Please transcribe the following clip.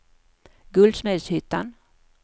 Guldsmedshyttan